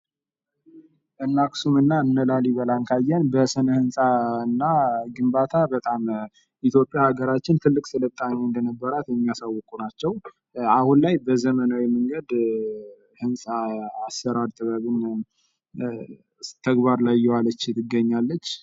እነ አክሱም እና እነ ላሊበላን ካየን በስነ ህንጻ እና ግንባታ ኢትዮጲያ ሃገራችን ትልቅ ስልጣኔ እንደሚኖራት የሚያሳውቁ ናቸው። አሁን ላይ በዘመናዊ መንገድ ህንጻ አሰራር ጥበብን ተግባር ላይ እያዋለች ትገኛለች።